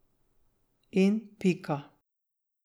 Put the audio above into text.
In pika.